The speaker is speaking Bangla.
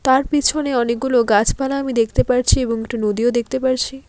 আর পিছনে অনেকগুলো গাছপালা আমি দেখতে পারছি এবং একটি নদীও দেখতে পারছি।